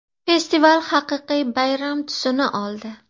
Festival haqiqiy bayram tusini oldi.